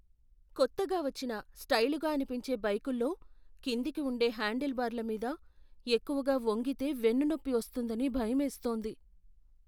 కొత్తగా వచ్చిన, స్టైలుగా అనిపించే బైకుల్లో కిందికి ఉండే హ్యాండిల్బార్ల మీద ఎక్కువగా వంగితే వెన్నునొప్పి వస్తుందని భయమేస్తోంది.